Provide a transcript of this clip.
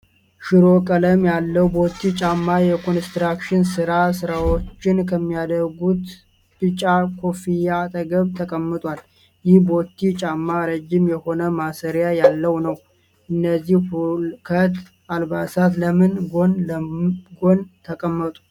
ሽሮ ቀለም ያለው ቦቲ ጫማ የኮንስትራክሽን ስራ ሰሪዎች ከሚያረጉት ቢጫ ኮፍያ አጠገብ ተቀምጧል። ይህ ቦቲ ጫማ ረጅም የሆነ ማሰሪያ ያለው ነው። እነዚህ ሁከት አልባሳት ለምን ጎን ለጎን ተቀመጡ?